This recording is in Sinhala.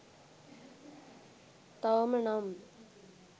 තවම නම්